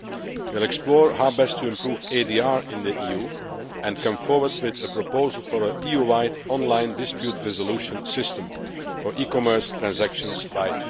We will explore how best to improve ADR in the EU and come forward with a proposal for an EU wide online dispute resolution system for e commerce transactions by